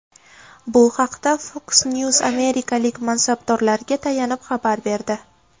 Bu haqda Fox News amerikalik mansabdorlarga tayanib xabar berdi.